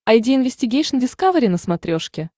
айди инвестигейшн дискавери на смотрешке